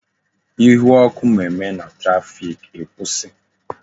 Ihu ọkụ mme mme na traffic, ikwusi